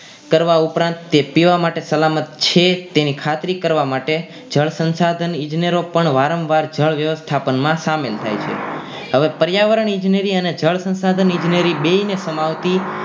કરવા ઉપરાંત તે પીવા માટે સલામત છે તેની ખાતરી કરવામાં માટે જળ સંસાધન ઇજનેરો પણ વારંવાર જળ વ્યવસ્થાપન માં સામેલ થાય છે હવે પર્યાવરણ ઈજનેરી અને જળ સંસાધન ઇજનેરી બંનેને સમાવતી